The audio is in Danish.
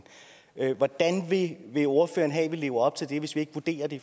hvordan vil vil ordføreren have at vi lever op til det hvis vi ikke vurderer det